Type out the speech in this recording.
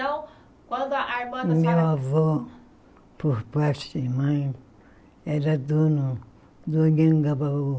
Então, quando a a irmã da senho...Meu avô, por parte de mãe, era dono do.